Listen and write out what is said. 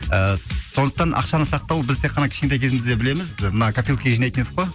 і сондықтан ақшаны сақтау біз тек қана кішкентай кезімізде білеміз мына копилкаға жинайтын едік қой